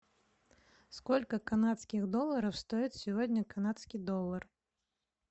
сколько канадских долларов стоит сегодня канадский доллар